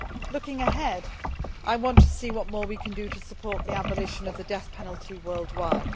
Looking ahead, I want to see what more we can do to support the abolition of the death penalty worldwide.